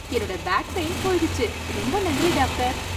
என்னோட back pain போயிடுச்சு, ரொம்ப நன்றி டாக்டர்.